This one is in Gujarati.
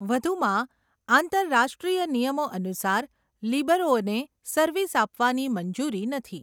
વધુમાં, આંતરરાષ્ટ્રીય નિયમો અનુસાર, લિબરોને સર્વિસ આપવાની મંજૂરી નથી.